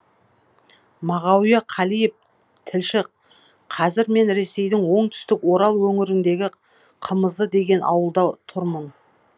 мағауия қалиев тілші қазір мен ресейдің оңтүстік орал өңіріндегі қымызды деген ауылда тұрмын